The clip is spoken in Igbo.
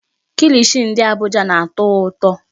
Kilishi ndị Abuja na-atọ ụtọ.